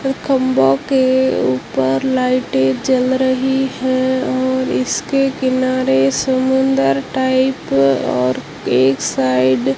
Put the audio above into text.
खम्बो के ऊपर लाइटें जल रही है और इसके किनारे समुद्र टाइप और एक साइड --